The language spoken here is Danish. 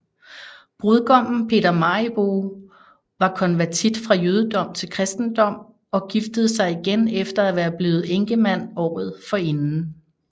Brudgommen Peter Mariboe var konvertit fra jødedom til kristendom og giftede sig igen efter at være blevet enkemand året forinden